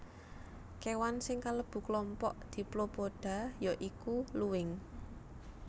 Kéwan sing kalebu klompok Diplopoda ya iku luwing